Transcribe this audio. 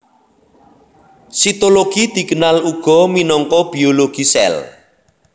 Sitologi dikenal uga minangka biologi sèl